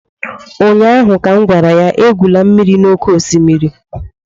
ụnyaahụ ka m gwara ya, egwula mmiri n'oké osimiri!